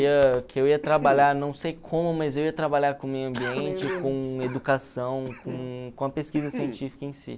que eu ia trabalhar, não sei como, mas eu ia trabalhar com o meio ambiente, com educação, com com a pesquisa científica em si.